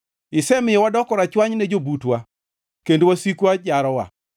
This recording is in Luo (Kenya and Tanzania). Isemiyo wadoko rachwany ne jobutwa, kendo wasikwa jarowa.